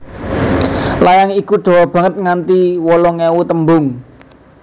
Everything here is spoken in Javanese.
Layang iku dawa banget nganti wolung ewu tembung